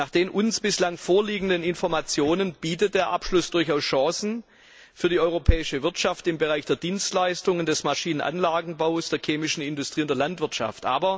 Nach den uns bislang vorliegenden Informationen bietet der Abschluss durchaus Chancen für die europäische Wirtschaft im Bereich der Dienstleistungen, des Maschinen und Anlagenbaus, der chemischen Industrie und der Landwirtschaft.